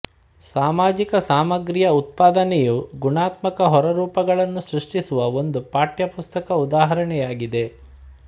ಸಾಮಾಜಿಕ ಸಾಮಗ್ರಿಯ ಉತ್ಪಾದನೆ ಯು ಗುಣಾತ್ಮಕ ಹೊರರೂಪಗಳನ್ನು ಸೃಷ್ಟಿಸುವ ಒಂದು ಪಠ್ಯ ಪುಸ್ತಕ ಉದಾಹರಣೆಯಾಗಿದೆ